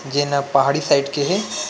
जे न पहाड़ी साइड के हे।